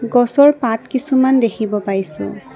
গছৰ পাত কিছুমান দেখিব পাইছোঁ।